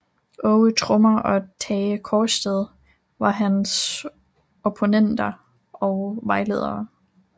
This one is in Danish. Aage Trommer og Tage Kaarsted var hans opponenter og vejledere